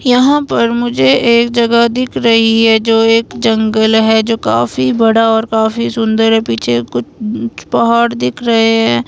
यहां पर मुझे एक जगह दिख रही है जो एक जंगल है जो काफी बड़ा और काफी सुंदर है पीछे कुछ पहाड़ दिख रहे हैं।